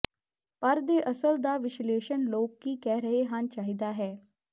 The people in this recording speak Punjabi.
ਪਰ ਦੇ ਅਸਲ ਦਾ ਵਿਸ਼ਲੇਸ਼ਣ ਲੋਕ ਕੀ ਕਹਿ ਰਹੇ ਹਨ ਚਾਹੀਦਾ ਹੈ